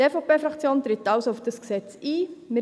Die EVP-Fraktion tritt also auf das Gesetz ein.